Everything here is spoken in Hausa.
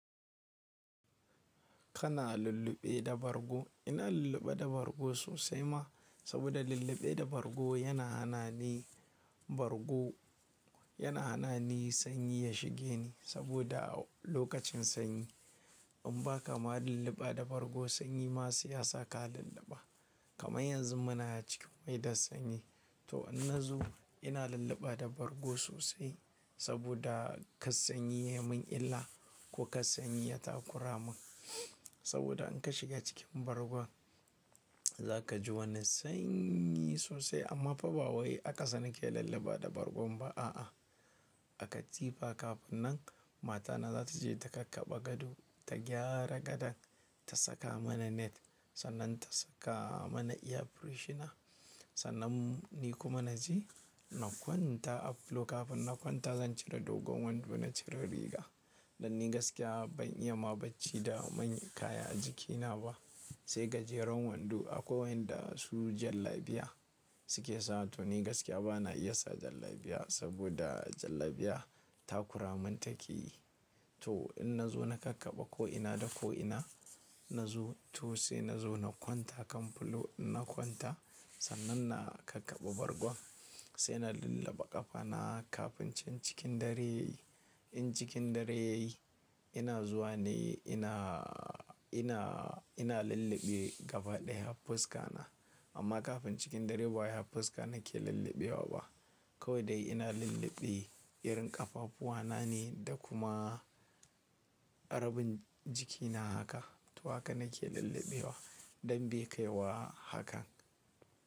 Kana lulluɓe da bargo. Ina lulluɓe da bargo sosai ma, saboda lulluɓe da bargo yana hana ni, bargo yana hana ni sanyi ya shige ni saboda a lokacin sanyi in ba kama lulluɓa da bargo sanyi masu ya saka lulluɓa. Kama yanzu muna a cikin maidar sanyi to in na zo ina lulluɓa da bargo sosai saboda kas sanyi ya mun illa ko kas sanyi ya takura mun. Saboda in ka shiga cikin bargon za ka ji wani sanyi sosai amma fabawowi aka sani ke lulluɓa da bargon ba a a. A katsifa kafin nan matana za ta je ta kakkaɓa gado, ta gyara gadon ta saka mana net sannan ta saka mana iya furshina. Sannan ni kuma na je na kwanta a falo kafin na kwanta zan cire dogon wando na cire riga. Dan ni gaskiya ban iya ma bacci da manyan kaya a jikina ba. Sai gajeren wando akwai yanda su jallabiya suke sawa to ni gaskiya bana iya sa jallabiya saboda jallabiya ta kuramin take. To in na zo na kakkaɓa ko ina da ko ina na zo to sai na zo na kwanta kan falo ina kwanta sannan na kakkaɓa bargon sai na lulluɓa ƙafana kafin cin cikin dare. In cikin dare yayi ina zuwa ne ina, ina, ina lulluɓe gaba ɗaya hafuska na. Amma kafin cikin dare ba hafuska nake lulluɓewa ba. Kowai dai ina lulluɓe irin ƙafafuwana ne da kuma rabin jikina haka. To haka nake lulluɓewa don bi kaiwa hakan.